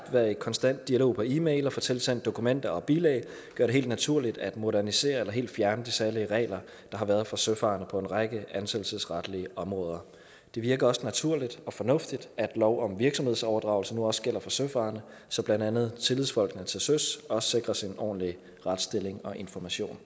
være i konstant dialog på e mail og få tilsendt dokumenter og bilag gør det helt naturligt at modernisere eller helt fjerne de særlige regler der har været for søfarende på en række ansættelsesretlige områder det virker også naturligt og fornuftigt at lov om virksomhedsoverdragelse nu også gælder for søfarende så blandt andet tillidsfolkene til søs også sikres en ordentlig retsstilling og information